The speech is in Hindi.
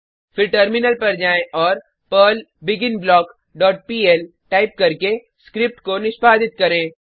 फिर टर्मिनल पर जाएँ और perl begin block dot pl type करके स्क्रिप्ट को निष्पादित करें